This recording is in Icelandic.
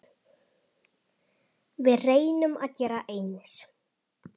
Við reynum að gera eins.